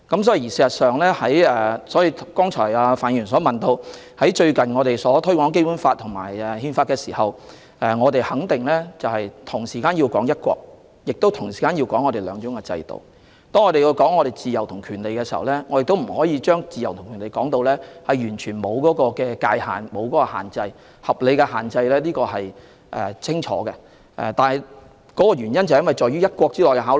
所以，范議員剛才問到我們近日推廣《基本法》和《憲法》的工作，我們肯定要提到"一國"並同時提到"兩制"。當我們談及自由和權利時，亦不可把自由和權利說成完全沒有界限和合理限制，這點是很清楚的，這些都是在"一國"下的考慮。